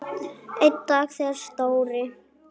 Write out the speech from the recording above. Einn dag þegar Stóri